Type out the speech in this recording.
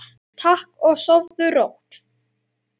Takk og sofðu rótt.